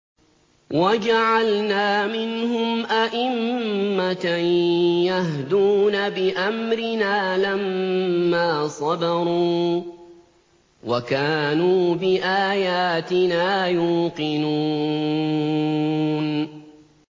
وَجَعَلْنَا مِنْهُمْ أَئِمَّةً يَهْدُونَ بِأَمْرِنَا لَمَّا صَبَرُوا ۖ وَكَانُوا بِآيَاتِنَا يُوقِنُونَ